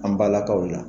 An balakaw la